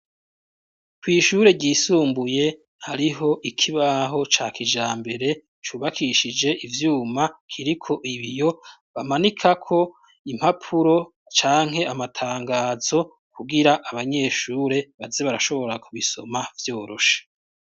Kw' ishure ryisumbuye hariho ikibaho ca kijambere cubakishije ivyuma kiriko ibiyo bamanikako impapuro canke amatangazo kugira abanyeshure baze barashobora kubisoma vyoroshe.